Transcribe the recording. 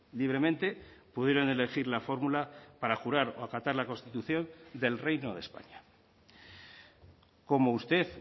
libremente pudieron elegir la fórmula para jurar o acatar la constitución del reino de españa como usted